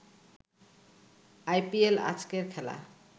IPL আজকের খেলা